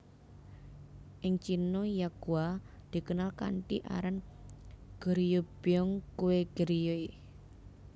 Ing Cina yakgwa dikenal kanthi aran Goryeobyeong kue Goryeo